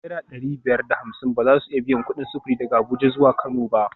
Naira dari biyar da hamsin ba za su iya biyan kudin sufuri daga Abuja zuwa Kano ba